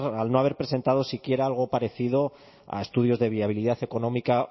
al no haber presentado siquiera algo parecido a estudios de viabilidad económica